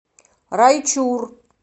райчур